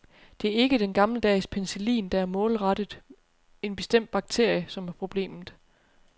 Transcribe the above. Det er ikke den gammeldags penicillin, der er målrettet en bestemt bakterie, som er problemet.